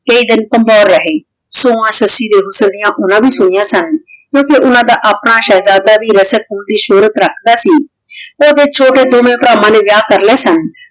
ਸੁਹਾਨ ਸੱਸੀ ਦੇ ਹੁਸ੍ਸਾਂ ਡਿਯਨ ਓਹਨਾਂ ਵੀ ਸੁਨਿਯਾਂ ਸਨ ਕ੍ਯੂ ਕੇ ਓਹਨਾਂ ਦਾ ਆਪਣਾ ਸ਼ੇਹ੍ਜ਼ਾਦਾ ਵੀ ਰਸਦ ਪੋਰੀ ਸ਼ੋਹਰਤ ਰਖਦਾ ਸੀ ਤੇ ਓਹਦੇ ਛੋਟੇ ਦੋਵਾਂ ਭਰਾਵਾਂ ਨੇ ਵਿਯਾਹ ਕਰ ਲੇ ਸਨ